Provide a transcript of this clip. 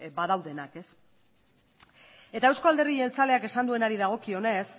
badaudenak eta euzko alderdi jeltzaleak esan duenari dagokionez